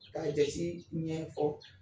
K'a jati ɲɛfɔ